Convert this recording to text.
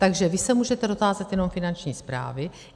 Takže vy se můžete dotázat jenom Finanční správy.